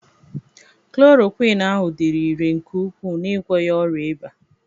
Kloroquiñ ahụ dịrị irè nke ukwuu n'ịgwọ ya ọrịa ịba